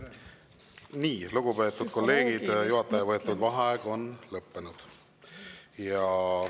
Nii, lugupeetud kolleegid, juhataja võetud vaheaeg on lõppenud.